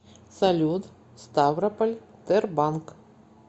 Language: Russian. салют ставрополь тербанк